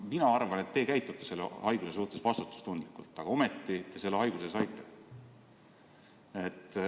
Mina arvan, teie käitusite selle haiguse suhtes vastutustundlikult, aga ometi te selle haiguse saite.